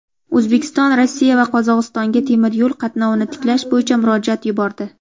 O‘zbekiston Rossiya va Qozog‘istonga temir yo‘l qatnovini tiklash bo‘yicha murojaat yubordi.